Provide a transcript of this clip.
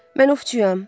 Mən ovçuyam.